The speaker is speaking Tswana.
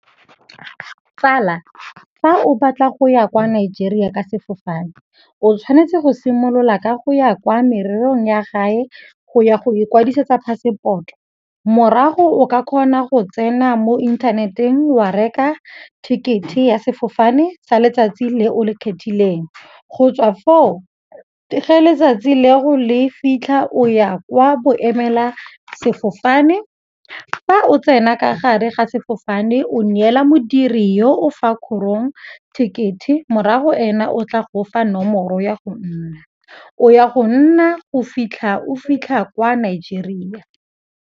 Tsala, fa o batla go ya kwa Nigeria ka sefofane o tshwanetse go simolola ka go ya kwa morerong ya gae go ya go ikwadisetsa phasepoto. Morago o ka kgona go tsena mo inthaneteng wa reka ticket-e ya sefofane sa letsatsi le o le ikgethileng, go tswa foo ge letsatsi leo le fitlha o ya kwa boemela sefofane fa o tsena ka ga re ga sefofane o neela modiri yo o fa kgorong ticket-e morago ena o tla go fa nomoro ya go nna, o ya go nna go fitlha o fitlha kwa Nigeria.